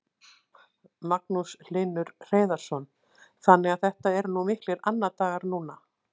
Magnús Hlynur Hreiðarsson: Þannig að þetta eru miklir annadagar núna?